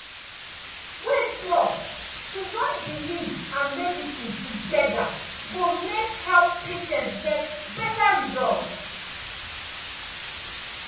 wait small — to join belief and medicine belief and medicine together go make help patients get better result.